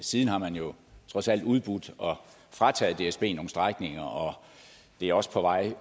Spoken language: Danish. siden har man jo trods alt udbudt og frataget dsb nogle strækninger og det er også på vej